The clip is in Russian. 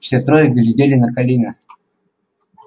все трое глядели на колина